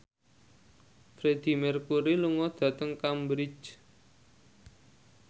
Freedie Mercury lunga dhateng Cambridge